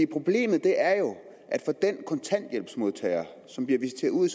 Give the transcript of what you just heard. problemet er jo at for den kontanthjælpsmodtager som bliver visiteret ud i